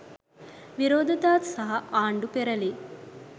විරෝධතා සහ ආණ්ඩු පෙරැළි